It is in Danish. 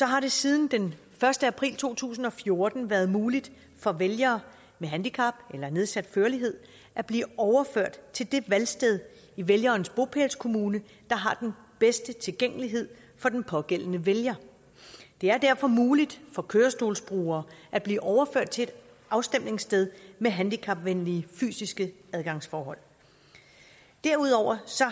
har det siden den første april to tusind og fjorten været muligt for vælgere med handicap eller nedsat førlighed at blive overført til det valgsted i vælgerens bopælskommune der har den bedste tilgængelighed for den pågældende vælger det er derfor muligt for kørestolsbrugere at blive overført til et afstemningssted med handicapvenlige fysiske adgangsforhold derudover